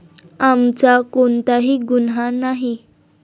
आमचा कोणताही गुन्हा नाही.